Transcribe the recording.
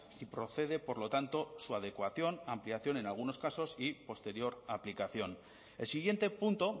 y procede por lo tanto su adecuación ampliación en algunos casos y posterior aplicación el siguiente punto